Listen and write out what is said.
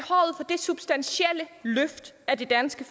substantielle løft af det danske